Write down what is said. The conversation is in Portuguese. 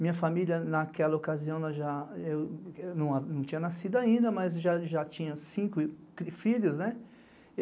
Minha família, naquela ocasião, não tinha nascido ainda, mas já tinha cinco filhos.